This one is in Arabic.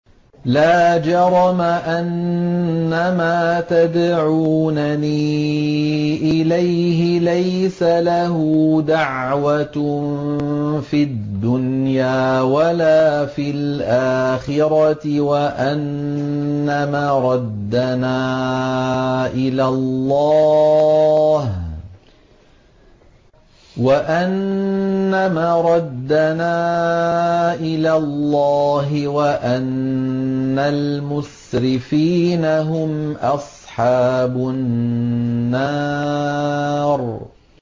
لَا جَرَمَ أَنَّمَا تَدْعُونَنِي إِلَيْهِ لَيْسَ لَهُ دَعْوَةٌ فِي الدُّنْيَا وَلَا فِي الْآخِرَةِ وَأَنَّ مَرَدَّنَا إِلَى اللَّهِ وَأَنَّ الْمُسْرِفِينَ هُمْ أَصْحَابُ النَّارِ